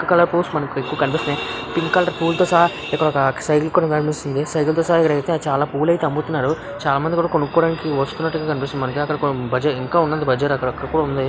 Pink colour పూలు మనకి కనిపిస్తున్నాయి పింక్ కలర్ పూలతో సహా సైకిల్ కనిపిస్తుంది. సైకిల్ తో సహా పూలు అయితే అమ్ముతున్నారు చాలా మంది కొనుక్కోవడానికి వస్తున్నాటు కనిపిస్తుంది మనకి ఇంకా ఉన్నది బజార్ ఇంకా ఎక్కడికో ఉన్నది --